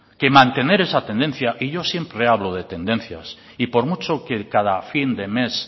que mantener esa tendencia y yo siempre hablo de tendencias y por mucho que cada fin de mes